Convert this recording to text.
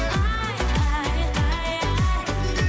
ай ай ай ай